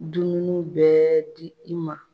Dununuw bɛ di i ma.